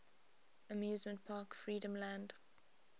amusement park freedomland